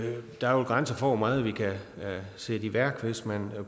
der er grænser for hvor meget vi kan sætte i værk hvis man